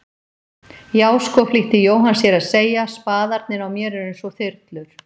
Já sko flýtti Jóhann sér að segja, spaðarnir á mér eru einsog þyrlur.